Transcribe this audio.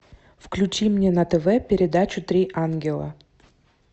включи мне на тв передачу три ангела